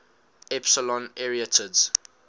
epsilon arietids